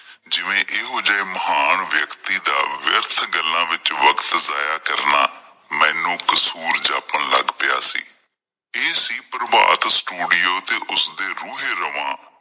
ਜਿਵੇਂ ਇਹੋ ਜਿਹੇ ਮਹਾਨ ਵਿਅਕਤੀ ਦਾ ਵਿਅਰਥ ਗਾਲਾਂ ਵਿਚ ਵਖਤ ਜਾਇਆ ਕਰਨਾ ਮੈਨੂੰ ਕਸੂਰ ਜਾਪਣ ਲੱਗ ਪਿਆ ਸੀ। ਇਹ ਸੀ ਪ੍ਰਭਾਤ ਸਟੂਡੀਓ ਤੇ ਉਸਦੇ ਰੂਹੇ ਰਵਾਂ।